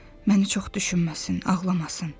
Məni çox düşünməsin, ağlamasın.